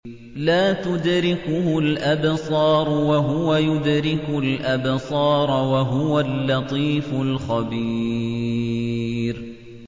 لَّا تُدْرِكُهُ الْأَبْصَارُ وَهُوَ يُدْرِكُ الْأَبْصَارَ ۖ وَهُوَ اللَّطِيفُ الْخَبِيرُ